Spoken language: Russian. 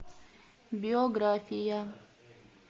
биография